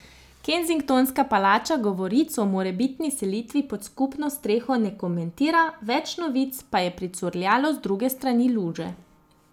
Kensingtonska palača govoric o morebitni selitvi pod skupno streho ne komentira, več novic pa je pricurljalo z druge strani luže.